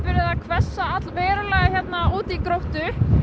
hvessa allverulega hérna úti í Gróttu